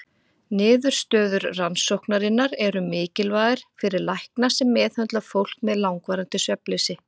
Niðurstöður rannsóknarinnar eru mikilvægar fyrir lækna sem meðhöndla fólk með langvarandi svefnleysi.